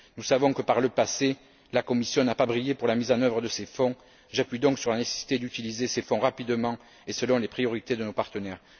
Nous savons que par le passé, la Commission n'a pas brillé par la mise en œuvre de ces fonds, j'appuie donc sur la nécessité d'utiliser ces fonds rapidement et selon les priorités de nos partenaires.